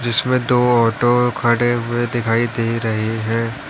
जिसमें दो ऑटो खड़े हुए दिखाई दे रहे है।